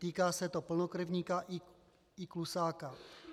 Týká se to plnokrevníka i klusáka.